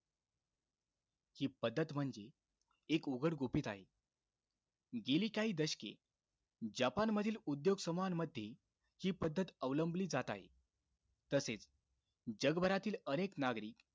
हि पद्धत म्हणजे, एक उघड गुपित आहे. गेली काही दशके, जापानमधील उद्योग समूहांमध्ये, हि पद्धत अवलंबली जात आहे. तसेच, जगभरातील अनेक नागरिक,